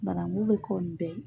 Banangu bɛ ko nun bɛɛ ye.